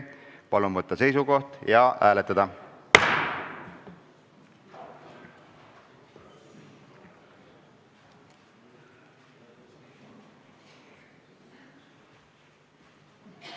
Palun võtta seisukoht ja hääletada!